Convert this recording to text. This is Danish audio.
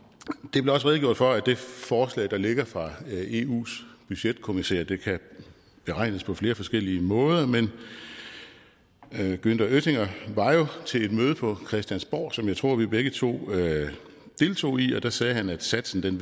der blev også redegjort for at det forslag der ligger fra eus budgetkommissær kan beregnes på flere forskellige måder men günther oettinger var jo til et møde på christiansborg som jeg tror vi begge to deltog i og der sagde han at satsen